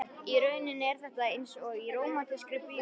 Í rauninni er þetta einsog í rómantískri bíómynd.